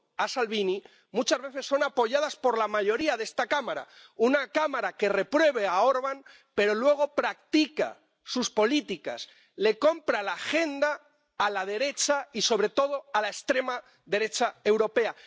a Salvini— muchas veces son apoyadas por la mayoría de esta Cámara, una Cámara que reprueba a Orbán pero luego practica sus políticas, le compra la agenda a la derecha y sobre todo a la extrema derecha europea.